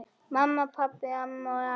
Mamma, pabbi, amma og afi.